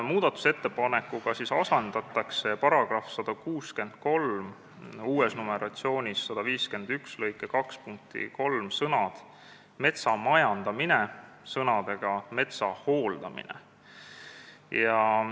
Muudatusettepanekuga asendatakse § 163 lõike 2 punkti 3 sõnad "metsa majandamine" sõnadega "metsa hooldamine".